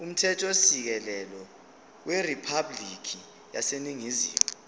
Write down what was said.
umthethosisekelo weriphabhulikhi yaseningizimu